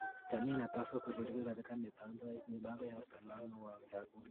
Jamii inapaswa kushiriki katika mipango ya usalama wa chakula.